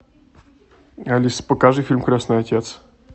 алиса покажи фильм крестный отец